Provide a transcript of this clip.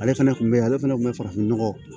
Ale fɛnɛ kun be yen ale fɛnɛ kun be farafin nɔgɔ